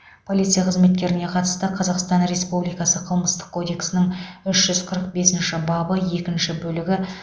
полиция қызметкеріне қатысты қазақстан республикасы қылмыстық кодексінің үш жүз қырық бесінші бабы екінші бөлігі